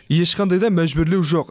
ешқандай да мәжбүрлеу жоқ